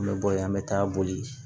An bɛ bɔ yen an bɛ taa boli